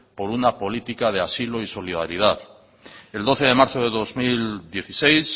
por una política de asilo y solidaridad el doce de marzo de dos mil dieciséis